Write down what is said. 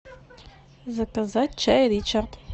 заказать чай ричард